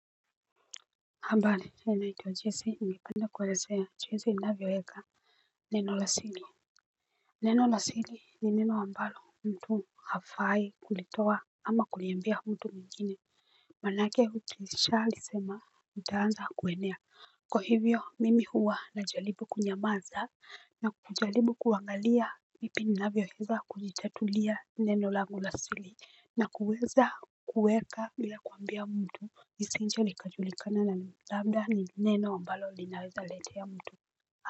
Mbari china naitwa jese ingipenda kwelezea jinsi inavyo eka. Neno lasili. Neno lasili ni neno ambalo mtu hafai kulitowa ama kuliambia mtu mwingine. Manake hukisha lisema mtaanza kuwenea. Kwa hivyo mimi huwa na jalibu kunyamaza na kujalibu kuangalia vipi inavyo eza kujitatulia neno langu lasili. Na kuweza kuweka ya kuambia mtu nisinche likajulikana na labda ni neno ambalo linaweza lete ya mtu.